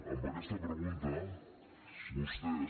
amb aquesta pregunta vostès